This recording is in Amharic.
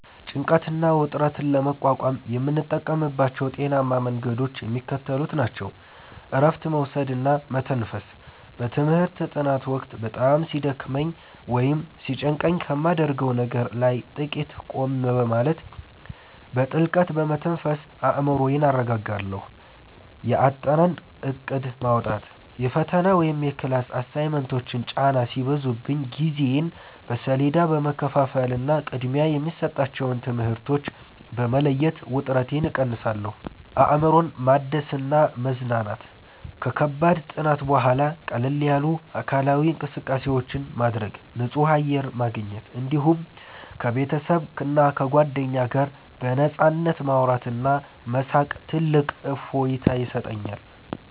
ጭንቀትና ውጥረትን ለመቋቋም የምጠቀምባቸው ጤናማ መንገዶች የሚከተሉት ናቸው፦ እረፍት መውሰድና መተንፈስ፦ በትምህርት ጥናት ወቅት በጣም ሲደክመኝ ወይም ሲጨንቀኝ ከማደርገው ነገር ላይ ጥቂት ቆም በማለት፣ በጥልቀት በመተንፈስ አእምሮዬን አረጋጋለሁ። የአጠናን እቅድ ማውጣት፦ የፈተና ወይም የክላስ አሳይመንቶች ጫና ሲበዙብኝ ጊዜዬን በሰሌዳ በመከፋፈልና ቅድሚያ የሚሰጣቸውን ትምህርቶች በመለየት ውጥረቴን እቀንሳለሁ። አእምሮን ማደስና መዝናናት፦ ከከባድ ጥናት በኋላ ቀለል ያሉ አካላዊ እንቅስቃሴዎችን ማድረግ፣ ንጹህ አየር ማግኘት፣ እንዲሁም ከቤተሰብና ከጓደኞች ጋር በነፃነት ማውራትና መሳቅ ትልቅ እፎይታ ይሰጠኛል።